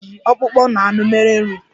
Nkịta ji ọkpụkpọ na anụ mere nri.